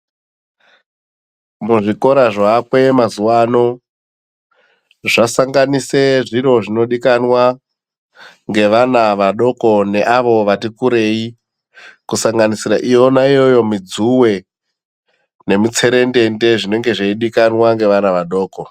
Muzvikora zvaakwe mazuva anozvasangana zviro zvinodikwana nevana vadoko neavo nevati kurei kusanganosira iyona iyoyo mudzuwe nemutserendende dzino dikwanwa nevana vadoko.